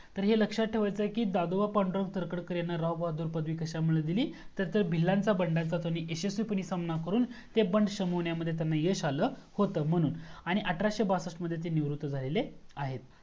तर हे लक्ष्यात ठेवायचा आहे की दादोबा तरखडकर यांना लाल बहाददूर पदवी कश्यामुळे दिली. तर ते भिलांच्या बंडचा यशस्वीपणे सामना करून ते बंड समवण्यामद्धे त्यांना यश आल होत. म्हणून आणि अठराशे बासष्ट मध्ये ते निवृत्त झालेले आहेत.